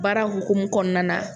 Bara hukumu kɔnɔna na